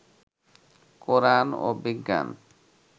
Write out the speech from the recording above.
কোরআন ও বিজ্ঞান